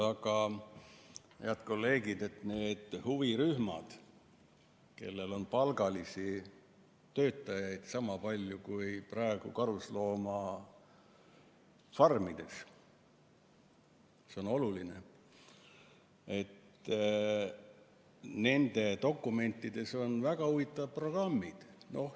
Aga, head kolleegid, meil on huvirühmad, kellel on palgalisi töötajaid sama palju kui praegu karusloomafarmides – see on oluline –, ja nende dokumentides on väga huvitavad programmid.